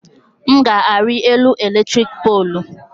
M ga-ari elu eletrik poolu